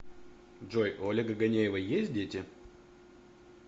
джой у олега ганеева есть дети